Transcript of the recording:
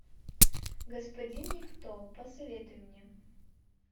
господин никто посоветуй мне